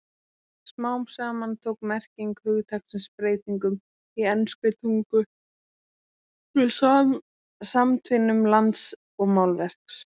Smám saman tók merking hugtaksins breytingum í enskri tungu með samtvinnun lands og málverks.